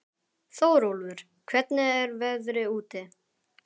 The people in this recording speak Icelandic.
Þórólfur, hvernig er veðrið úti?